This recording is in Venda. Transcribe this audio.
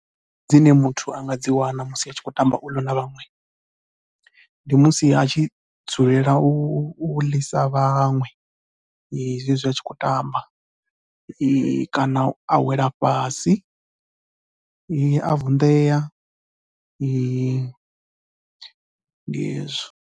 Dzine muthu a nga dzi wana musi a tshi khou tamba ulu na vhaṅwe ndi musi a tshi dzulela u ḽisa vhaṅwe zwezwi a tshi khou tamba kana a wela fhasi a vunḓea ndi hezwo.